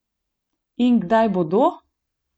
In kdaj bodo?